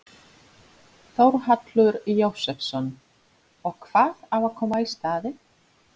Þórhallur Jósefsson: Og hvað á að koma í staðinn?